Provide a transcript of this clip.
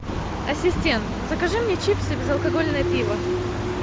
ассистент закажи мне чипсы и безалкогольное пиво